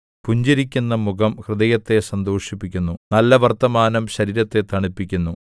പുഞ്ചിരിക്കുന്നു മുഖം ഹൃദയത്തെ സന്തോഷിപ്പിക്കുന്നു നല്ല വർത്തമാനം ശരീരത്തെ തണുപ്പിക്കുന്നു